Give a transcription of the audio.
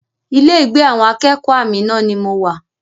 Ilé ìgbé àwọn akẹ́kọ̀ọ́ Amina ni mo wà